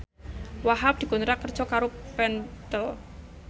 Wahhab dikontrak kerja karo Pentel